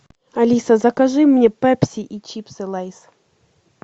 алиса закажи мне пепси и чипсы лейс